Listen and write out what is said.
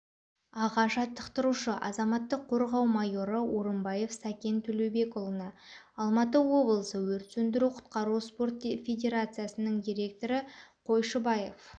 аға жаттықтырушы азаматтық қорғау майоры орынбаев сакен төлеубекұлына алматы облысы өрт сөндіру-құтқару спорт федирациясының директоры қойшыбаев